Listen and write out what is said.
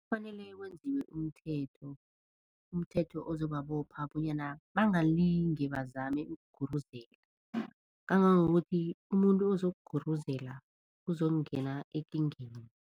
Kufanele kwenziwe umthetho, umthetho ozobabopha bonyana bangalinge bazame ukuguruzela, kangangokuthi umuntu ozokuguruzela uzokungena ekingeni.